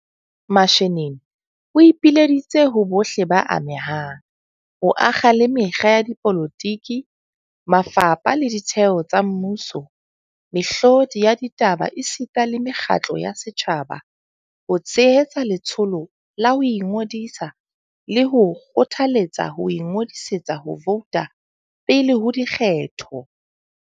Mashinini o ipileditse ho bohle ba amehang, ho akga le mekga ya dipolotiki, mafapha le ditheo tsa mmuso, mehlodi ya ditaba esita le mekgatlo ya setjhaba, ho tshehetsa letsholo la ho ingodisa le ho kgothaletsa ho ingodisetsa ho vouta pele ho dikgetho.